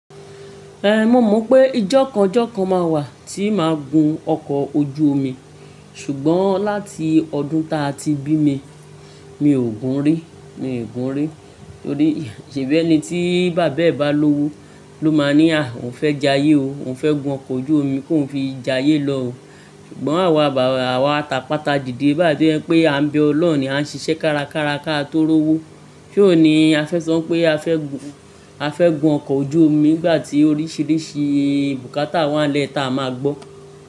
Eh, mo mọ pé ijọkanjọkan máa wà tí máa gun ọkọ ojú omi, ṣùgbọ́n láti ọdún ta ti bí mi, mi ò gun rí, mi ò gun rí torí ṣebí ẹni tí bàbá ẹ bá lówó ló máa ní, "à, òún fẹ́ jayé o, òún fẹ́ gun ọkọ ojú omi kó n fi jayé lọ o." ṣùgbọ́n àwa àwa a tapàtà dìde báyi ẹ jepé à ń bẹ ọlọ́run ni a ń ṣiṣẹ́ kárakára ká tó rówó. Ṣé òun ní a fẹ́ so pé a fẹ́ gun, a fẹ́ gun ọkọ ojú omi nígbà tí oríṣiríṣi bùkátà wá nle ta máa gbọ́?